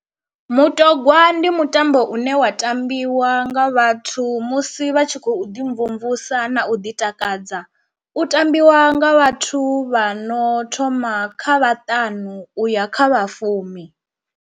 Mutogwa ndi mutambo une wa tambiwa nga vhathu musi vha tshi khou ḓi mvumvusa na u ḓi takadza, u tambiwa nga vhathu vha no thoma kha vhaṱanu uya kha vhafumi.